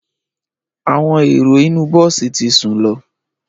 Àwọn ẹrò inu bọ̀si tí sún lọ